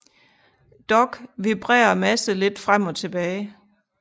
Dog vibrerer masse lidt frem og tilbage